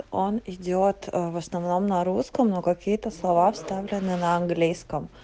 он идёт в основном на русском но какие-то слова вставлены на английском